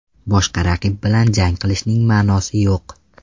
Boshqa raqib bilan jang qilishning ma’nosi yo‘q.